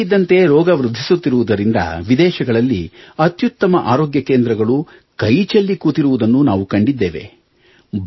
ಇದ್ದಕ್ಕಿದ್ದಂತೆ ರೋಗ ವೃದ್ಧಿಸುತ್ತಿರುವುದರಿಂದ ವಿದೇಶಗಳಲ್ಲಿ ಅತ್ಯುತ್ತಮ ಆರೋಗ್ಯ ಕೇಂದ್ರಗಳು ಕೈಚೆಲ್ಲಿ ಕೂತಿರುವುದನ್ನು ನಾವು ಕಂಡಿದ್ದೇವೆ